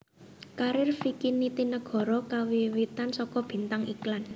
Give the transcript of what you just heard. Karir Vicky Nitinegoro kawiwitan saka bintang iklan